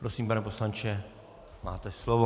Prosím, pane poslanče, máte slovo.